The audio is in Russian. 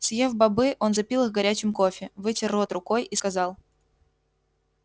съев бобы он запил их горячим кофе вытер рот рукой и сказал